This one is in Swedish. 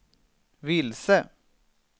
vilse